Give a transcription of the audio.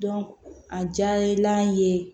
a diyara an ye